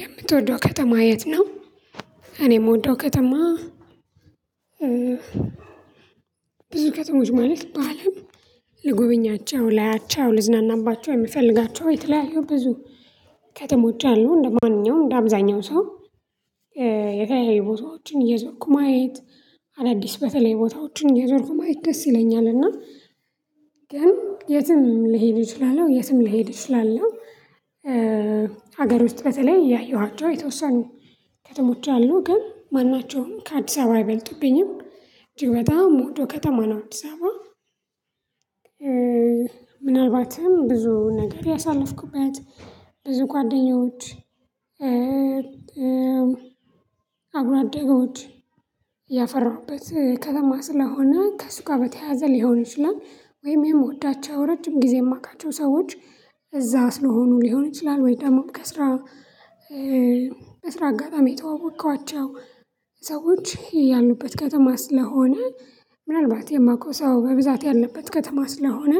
የምትወደው ከተማ የት ነው? እኔ የምወደው ከተማ ብዙ ከተሞች ማለት በአለም ልጎበኛቸው ላያቸው ልዝናናባቸው የምፈልጋቸው የተለያዩ ብዙ ከተሞች አሉ። እንደማንኛውም እንደአብዛኛው ሰው የተለያዩ ቦታዎችን እየዞርኩ ማየት አዳዲስ በተለየ ቦታዎችን እየዞርኩ ማየት ደስ ይለኛል እና ግን የትም ልሄድ እችላለሁ የትም ልሄድ እችላለሁ። ሀገር ውስጥ በተለይ ያየኋቸው የተወሰኑ ከተሞች አሉ ግን ማናቸውን ከአዲስ አበባ አይበልጡብኝም። እጅግ በጣም የምወደው ከተማ ነው አዲሳባ። ምናልባትም ብዙ ነገር ያሳለፍኩበት ብዙ ጓደኞች፣ አጉራደጎች ያፈራሁበት ከተማ ስለሆነ ከሱጋ በተያዘ ሊሆን ይችላል፣ ወይም የምወዳቸው ራጅም ጊዜ የማቃቸው ሰዎች እዛ ስለሆኑ ሊሆን ይችላል ወይ ደግሞ ከስራ በስራ አጋጣሚ የተዋወቅኳቸው ሰዎች ያሉበት ከተማ ስለሆነ ምናልባት የማውቀው ሰው በብዛት ያለበት ከተማ ስለሆነ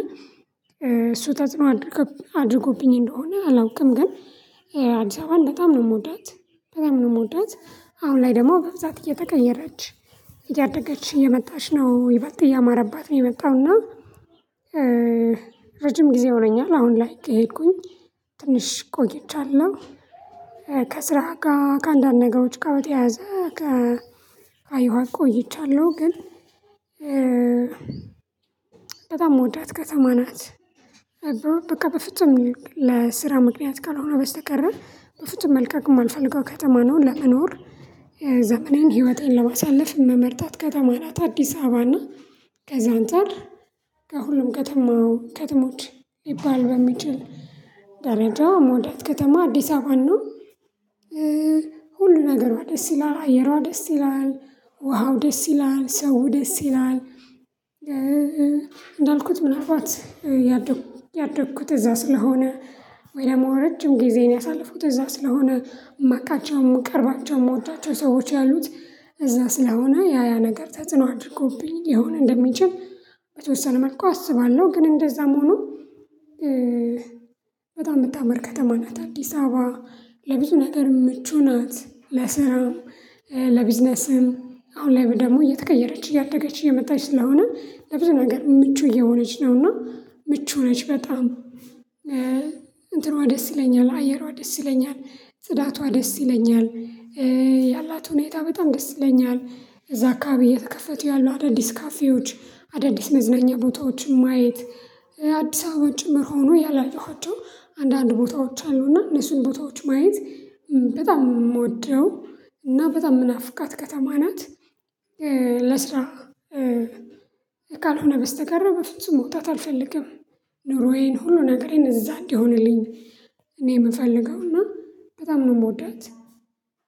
እሱ ተጽኖ አድርጎብኝ እንደሆነ አላውቅም ግን አዲስ አበባን በጣም ነው የምወዳት። በጣም ነው የምወዳት አሁን ላይ ደግሞ በብዛት እየተቀየረች እያደገች እየመጣች ነው። ይበልጥ እያማረባት ነው የመጣው እና ረጅም ጊዜ ሆኖኛል አሁን ላይ ከሄድኩኝ ትንሽ ቆይቻለሁ። ከስራ ጋ ከአንዳንድ ነገሮች ጋር በተያያዘ ከአየኋት ቆይቻለሁ። ግን በጣም ምወዳት ከተማ ናት በቃ በፍጹም ለስራ ምክንያት ካልሆነ በስተቀር በፍጹም መልቀቅ የማልፈልገው ከተማ ነው ለመኖር። ዘመኔን ህይወቴን ለማሳለፍ መመርጣት ከተማ ናት አዲስ አበባ እና ከዛ አንፃር ከሁሉም ከተማው ከተሞች ሊባል በሚችል ደረጃው ሞዳት ከተማ አዲስ አበባን ነው። ሁሉ ነገሯ ደስ ይላል አየሯ ደስ ይላል፣ ውሃው ደስ ይላል፣ ሰውው ደስ ይላል፣ እንዳልኩት ምናልባት ያደኩት ያደኩት እዛ ስለሆነ ወይ ደግሞ ረጅም ጊዜን ያሳለፉት እዛ ስለሆነ የማቃቸው፣ የምቀርባቸው፣ የምወዳቸው ሰዎች ያሉት እዛ ስለሆነ ያ ያ ነገር ተጽዕኖ አድርጎብኝ ይሆን እንደሚችል በተወሰነ መልኩ አስባለሁ ግን እንደዛም ሆኖ በጣም የምታመር ከተማ ናት አዲስ አበባ። ለብዙ ነገር ምቹ ናት ለስራም ለቢዝነስም አሁን ላይ ደግሞ እየተቀየረች እያደገች እየመጣች ስለሆነ ለብዙ ነገር ምቹ እየሆነች ነውና ምቹ ነች በጣም እንትኗ ደስ ይለኛል፣ አየሯ ደስ ይለኛል፣ ጽዳቷ ደስ ይለኛል ያላት ሁኔታ በጣም ደስ ይለኛል እዛ አካባቢ የተከፈቱ ያሉ አዳዲስ ካፌዎች፣ አዳዲስ መዝነኛ ቦታዎች ማየት የአዲስ አበባ ጭምር ሆኖ ያላየኋቸው አንዳንድ ቦታዎች አሉ። እና እነሱን ቦታዎች ማየት በጣም የምወደው እና በጣም የምናፍቃት ከተማ ናት። ለስራ ካልሆነ በስተቀር በፍጹም መውጣት አልፈልግም ኑሮዬን ሁሉ ነገሬን እዛ እንዲሆነልኝ እኔ የምፈልገው እና በጣም ነው የምወዳት።